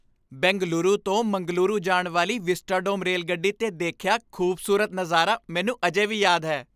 ਬੈਂਗਲੁਰੂ ਤੋਂ ਮੰਗਲੁਰੂ ਜਾਣ ਵਾਲੀ ਵਿਸਟਾਡੋਮ ਰੇਲਗੱਡੀ 'ਤੇ ਦੇਖਿਆ ਖ਼ੂਬਸੂਰਤ ਨਜ਼ਾਰਾ ਮੈਨੂੰ ਅਜੇ ਵੀ ਯਾਦ ਹੈ ।